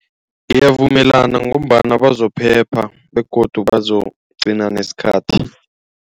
Ngiyavumelana ngombana bazo phepha begodu bazokugcina nesikhathi.